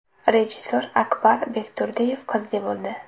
Rejissor Akbar Bekturdiyev qizli bo‘ldi.